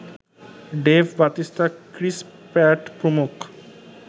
Dave Batista, Chris Pratt প্রমুখ